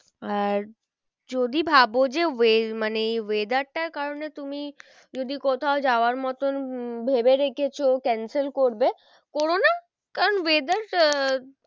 আর যদি ভাবো যে মানে এই weather টার কারণে তুমি যদি কোথাও যাওয়ার মতন উম ভেবে রেখেছো cancel করবে করো না কারণ weather আহ